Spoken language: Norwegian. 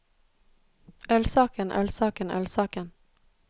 ølsaken ølsaken ølsaken